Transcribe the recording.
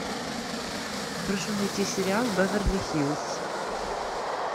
прошу найти сериал беверли хиллз